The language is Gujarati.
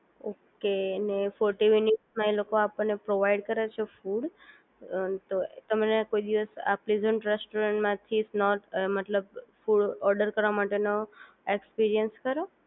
ઓકે ને ફોટી મિનિટસમાં એ લોકો આપણને પ્રોવાઇડ કરે છે ફૂડ અન તો તમને કોઈ દિવસ આ પ્રેઝન્ટ રેસ્ટોરન્ટ માંથી સનોજ મતલબ ફૂડ ઓર્ડર કરવા માટેનો એક્સપિરિયન્સ કરો ખરો